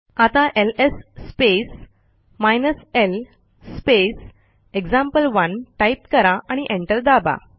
आता LS space hyphen l space example one type करा आणि एंटर दाबा